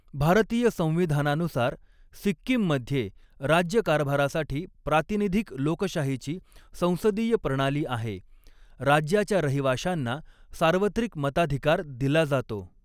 भारतीय संविधानानुसार, सिक्कीममध्ये राज्यकारभारासाठी प्रातिनिधिक लोकशाहीची संसदीय प्रणाली आहे, राज्याच्या रहिवाशांना सार्वत्रिक मताधिकार दिला जातो.